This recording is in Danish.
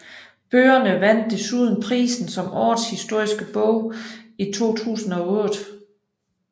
Bøgerne vandt desuden prisen som Årets Historiske Bog i 2008